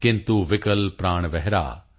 ਕਿੰਤੂ ਵਿਕਲ ਪ੍ਰਾਣ ਵਿਹਗ